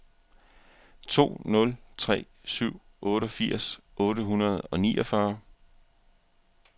to nul tre syv otteogfirs otte hundrede og niogfyrre